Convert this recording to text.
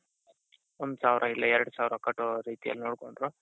ಒಂದು ಸಾವಿರ ಇಲ್ಲ ಎರಡು ಸಾವಿರ ಕಟ್ಟೋದು ಆ ರೀತಿಯಲ್ಲಿ ನೋಡ್ಕೊಂಡು